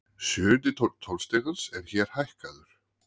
Sjöundi tónn tónstigans er hér hækkaður.